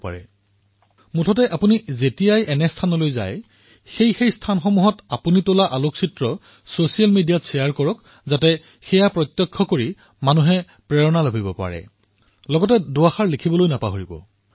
আপোনালোকে যেতিয়া এই স্থানসমূহলৈ যাব তেতিয়া তাৰিখসমহূ ছচিয়েল মিডিয়াত নিশ্চয়কৈ প্ৰচাৰ কৰিব যাতে অন্য লোকো তাৰ পৰা উৎসাহিত হব পাৰে আৰু ইয়াৰ লগতে নিজৰ ভাৱনা প্ৰকাশ কৰিব পৰা দুইচাৰিটা বাক্যও লিখিব